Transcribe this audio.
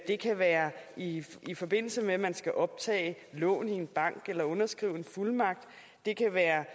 det kan være i i forbindelse med at man skal optage lån i en bank eller underskrive en fuldmagt det kan være